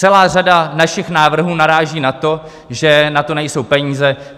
Celá řada našich návrhů naráží na to, že na to nejsou peníze.